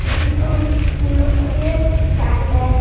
और पीछे उन उस उनलोग के लिए एक स्टैंड है।